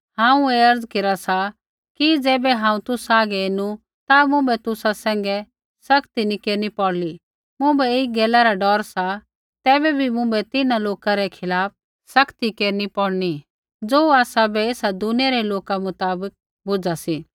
हांऊँ ऐ अर्ज़ केरा सा कि ज़ैबै हांऊँ तुसा हागै एनु ता मुँभै तुसा सैंघै सख्ती नी केरनी पौड़ली मुँभै ऐई गैला रा डौर सा तैबै बी मुँभै तिन्हां लोका रै खिलाफ़ सख्ती केरनी पौड़नी ज़ो आसाबै ऐसा दुनिया रै लोका मुताबक बुझा सी